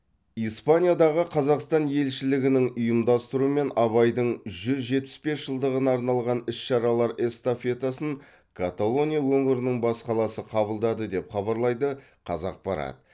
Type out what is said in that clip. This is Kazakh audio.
испаниядағы қазақстан елшілігінің ұйымдастыруымен абайдың жүз жетпіс бес жылдығына арналған іс шаралар эстафетасын каталония өңірінің бас қаласы қабылдады деп хабарлайды қазақпарат